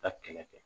Ka kɛlɛ kɛ